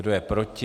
Kdo je proti?